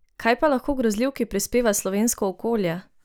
Kaj pa lahko grozljivki prispeva slovensko okolje?